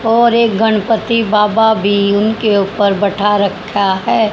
और एक गणपति बाबा भी उनके ऊपर बैठा रखा है।